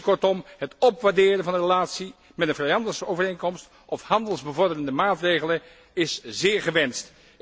Kortom, het opwaarderen van deze relatie met een vrijhandelsovereenkomst of handelsbevorderende maatregelen is zeer gewenst.